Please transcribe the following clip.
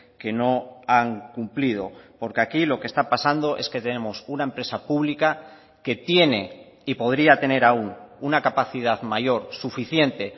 que no han cumplido porque aquí lo que está pasando es que tenemos una empresa pública que tiene y podría tener aún una capacidad mayor suficiente